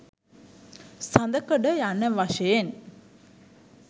සඳකඩ යන වශයෙන්